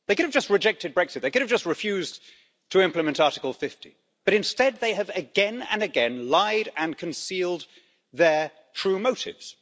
They could have just rejected Brexit, they could have just refused to implement Article 50, but instead they have again and again lied and concealed their true motives.